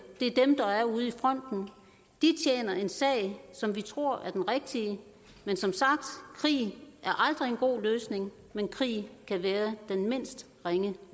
det er dem der er ude i fronten og de tjener en sag som vi tror er den rigtige men som sagt krig er aldrig en god løsning men krig kan være den mindst ringe